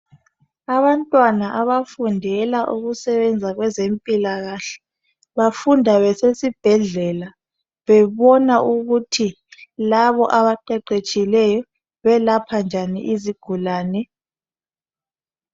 Abantwana abafundela ukusebenza kwezempilakahle bafunda besesibhedlela bebona ukuthi labo abaqeqetshileyo belapha njani izigulane.